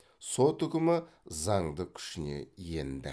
сот үкімі заңды күшіне енді